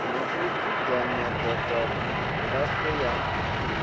na u dzudzanya database ya